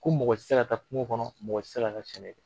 Ko mɔgɔ ti se ka taa kungo kɔnɔ mɔgɔ ti se ka taa sɛnɛ kɛ.